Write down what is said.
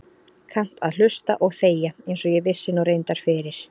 Kannt að hlusta og þegja einsog ég vissi nú reyndar fyrir.